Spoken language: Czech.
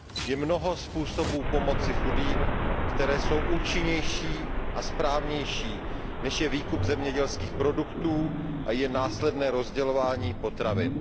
Je mnoho způsobů pomoci chudým, které jsou účinnější a správnější, než je výkup zemědělských produktů a následné rozdělování potravin.